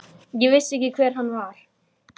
Því get ég trúað, sagði afi.